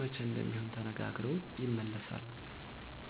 መቼ እንደሚሆን ተነጋግረው ይመለሳሉ።